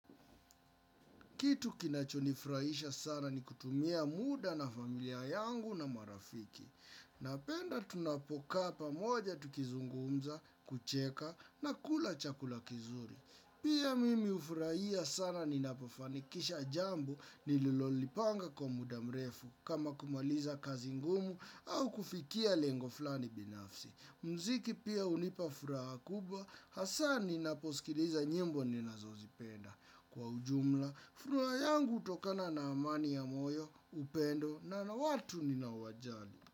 Kitu kinachonifuraisha sana ni kutumia muda na familia yangu na marafiki. Napenda tunapokaa pamoja tukizungumza, kucheka na kula chakula kizuri. Pia mimi ufuraia sana ni napofanikisha jambo nililolipanga kwa muda mrefu kama kumaliza kazi ngumu au kufikia lengo fulani binafsi. Mziki pia unipafraha kubwa, hasa ninaposikiliza nyimbo ninazozipenda. Kwa ujumla, furaha yangu utokana na amani ya moyo, upendo na watu ninao wajali.